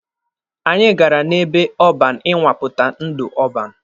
Anyị gara n'ebe ọban ịnwapụta ndụ ọban.